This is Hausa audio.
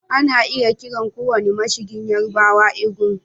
Ana iya kiran kowane mashigin Yarbawa Egungun